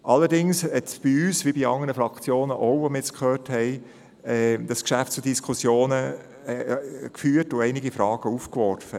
Allerdings führte das Geschäft auch bei uns, wie offenbar auch bei anderen Fraktionen, zu Diskussionen und warf eini- ge Fragen auf.